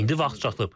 İndi vaxt çatıb.